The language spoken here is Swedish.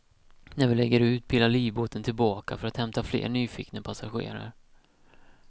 När vi lägger ut pilar livbåten tillbaka för att hämta fler nyfikna passagerare.